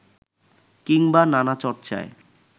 কিংবা নানা চর্চায়